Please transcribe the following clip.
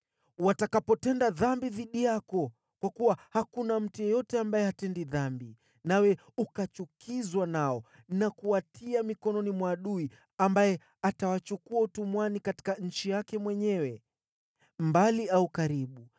“Watakapotenda dhambi dhidi yako, kwa kuwa hakuna mtu yeyote ambaye hatendi dhambi, nawe ukachukizwa nao na kuwakabidhi kwa adui, ambaye atawachukua utumwani katika nchi iliyo mbali au karibu